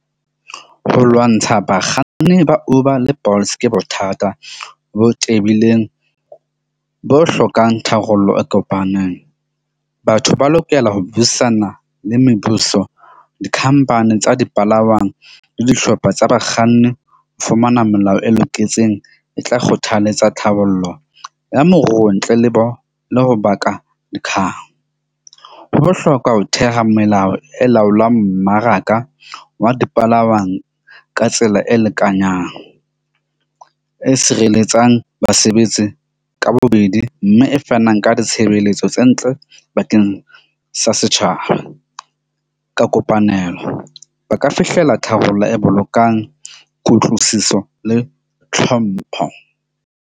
Ho lwantsha bakganni ba Uber le Bolts ke bothata bo tebileng, bo hlokang tharollo e kopanang. Batho ba lokela ho buisana le mebuso, dikhampani tsa dipalangwang le dihlopha tsa bakganni ho fumana molao e loketseng e tla kgothaletsa tlhabollo ya moruo ntle le bo le ho baka . Ho bohlokwa ho theha melao e laolang mmaraka wa dipalangwang ka tsela e lekanyang. E sireletsang basebetsi ka bobedi mme e fanang ka ditshebeletso tse ntle bakeng sa setjhaba ka kopanelo. Ba ka fihlela tharollo e bolokang kutlwisiso le tlhompho.